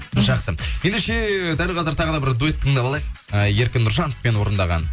жақсы ендеше дәл қазір тағы да бір дуэтті тыңдап алайық ы еркін нұржановпен орындаған